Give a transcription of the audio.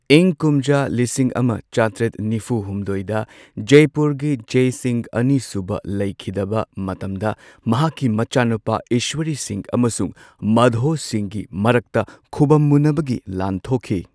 ꯏꯪ ꯀꯨꯝꯖꯥ ꯂꯤꯁꯤꯡ ꯑꯃ ꯆꯥꯇ꯭ꯔꯦꯠ ꯅꯤꯐꯨ ꯍꯨꯝꯗꯣꯏꯗ ꯖꯥꯢꯄꯨꯔꯒꯤ ꯖꯥꯢ ꯁꯤꯡꯍ ꯑꯅꯤꯁꯨꯕ ꯂꯩꯈꯤꯗꯕ ꯃꯇꯝꯗ ꯃꯍꯥꯛꯀꯤ ꯃꯆꯥꯅꯨꯄꯥ ꯏꯁ꯭ꯋꯔꯤ ꯁꯤꯡꯍ ꯑꯃꯁꯨꯡ ꯃꯥꯙꯣ ꯁꯤꯡꯍꯒꯤ ꯃꯔꯛꯇ ꯈꯨꯕꯝ ꯃꯨꯟꯅꯕꯒꯤ ꯂꯥꯟ ꯊꯣꯛꯈꯤ꯫